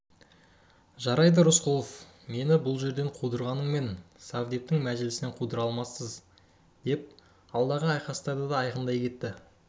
жарайды рысқұлов мені бұл жерден қудырғанмен совдептің мәжілісінен қудыра алмассыз деп алдағы айқастарды да айқындай кетті